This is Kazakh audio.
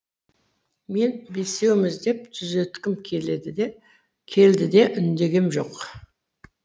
мен бесеуіміз деп түзеткім келді де үндегем жоқ